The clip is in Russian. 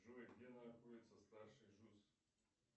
джой где находится старший джус